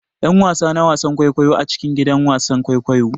'Yan wasa na wasan kwaikwayo a cikin gidan wasan kwaikwayo.